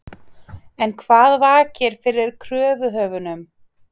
En hvað vakir fyrir kröfuhöfunum?